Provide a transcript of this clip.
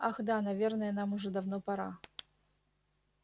ах да наверное нам уже давно пора